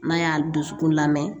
N'a y'a dusukun lamɛn